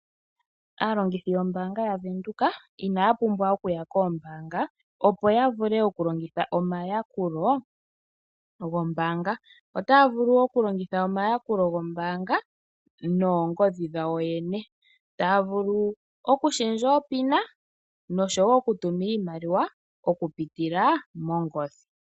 Aalongithi yombaanga yaVenduka, inaya pumbwa okuya poombaanga opo yavule okulongitha omayakulo gombaanga. Otaya vulu wo okulongitha omayakulo gombaanga noongodhi dhawo yene. Taya vulu okulundulula oonomola dhoombaanga dhawo noshowoo okutuma iimaliwa okupitila mongodhi.